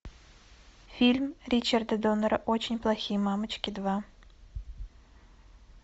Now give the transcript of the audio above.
фильм ричарда доннера очень плохие мамочки два